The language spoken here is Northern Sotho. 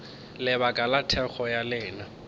lebaka la thekgo ya lena